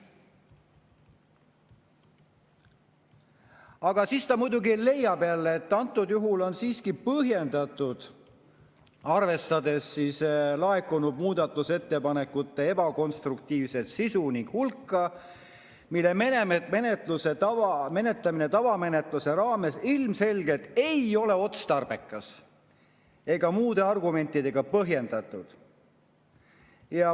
Aga siis ta muidugi leiab jälle, et antud juhul on see siiski põhjendatud, arvestades laekunud muudatusettepanekute ebakonstruktiivset sisu ning hulka, nii et menetlemine tavamenetluse raames ilmselgelt ei ole otstarbekas ega muude argumentidega põhjendatud.